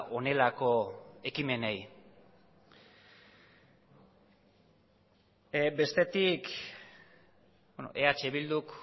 honelako ekimenei bestetik eh bilduk